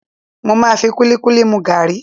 Mo máa fi kúlíkúlí mu gàrí.